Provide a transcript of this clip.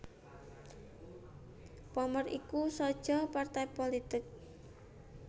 Pommer iku saja partai pulitik